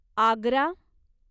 Agra